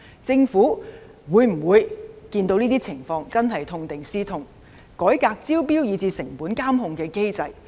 政府看到這些情況會否痛定思痛，改革招標及成本監控機制？